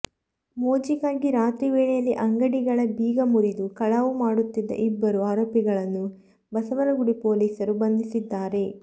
ಮೋಜಿಗಾಗಿ ರಾತ್ರಿ ವೇಳೆಯಲ್ಲಿ ಅಂಗಡಿಗಳ ಬೀಗ ಮುರಿದು ಕಳವು ಮಾಡುತ್ತಿದ್ದ ಇಬ್ಬರು ಆರೋಪಿಗಳನ್ನು ಬಸವನಗುಡಿ ಪೊಲೀಸರು ಬಂಧಿಸಿದ್ದಾರೆ